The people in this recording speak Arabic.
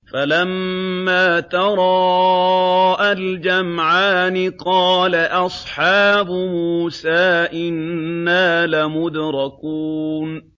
فَلَمَّا تَرَاءَى الْجَمْعَانِ قَالَ أَصْحَابُ مُوسَىٰ إِنَّا لَمُدْرَكُونَ